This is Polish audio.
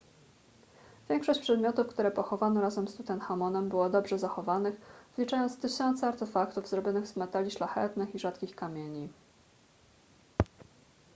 większość przedmiotów które pochowano razem z tutenchamonem było dobrze zachowanych wliczając tysiące artefaktów zrobionych z metali szlachetnych i rzadkich kamieni